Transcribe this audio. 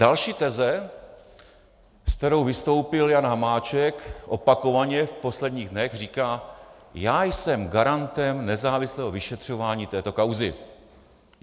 Další teze, se kterou vystoupil Jan Hamáček opakovaně v posledních dnech, říká: Já jsem garantem nezávislého vyšetřování této kauzy.